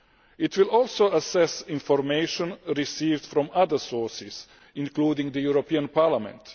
It will also assess information received from other sources, including the European Parliament.